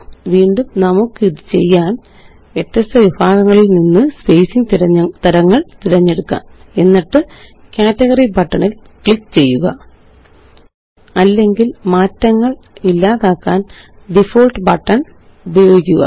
വീണ്ടും നമുക്കിത് ചെയ്യാന് വ്യത്യസ്ത വിഭാഗങ്ങളില് നിന്ന് സ്പേസിംഗ് തരങ്ങള് തിരഞ്ഞെടുക്കാം എന്നിട്ട് കാറ്റഗറി ബട്ടണില് ക്ലിക്ക് ചെയ്യുക അല്ലെങ്കില് മാറ്റങ്ങള് ഇല്ലാതാക്കാന് ഡിഫോൾട്ട് ബട്ടണ് ഉപയോഗിക്കുക